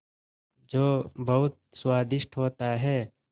जो बहुत स्वादिष्ट होता है